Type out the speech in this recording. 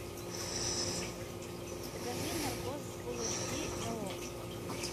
покажи наркоз фулл эйч ди на окко